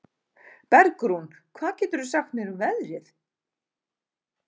Bergrún, hvað geturðu sagt mér um veðrið?